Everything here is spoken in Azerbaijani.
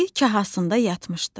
Ayı kahasında yatmışdı.